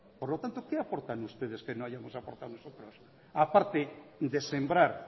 por lo tanto qué aportan ustedes que no hayamos aportado nosotros aparte de sembrar